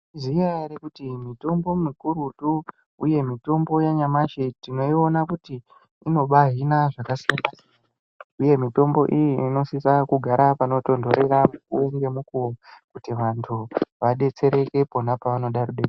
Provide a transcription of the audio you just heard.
Zvino varikuti mitombo mikurutu uyemitombo yanyamashe tinoyiwona kuti inobahhina zvakasiyana siyana. Uye mitombo iyi inosisa kugara panotondorera umweni ngemukuwo kuti vantu vadetsereke khona pavanoda kudetserwa.